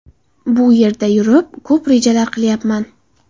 Bu yerda yurib, ko‘p rejalar qilyapman.